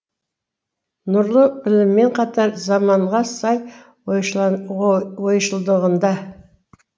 нұрлы білімімен қатар заманға сай ойшылдығында